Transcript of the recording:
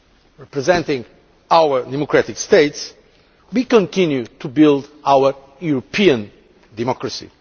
of presenting our democratic states, we continue to build our European democracy.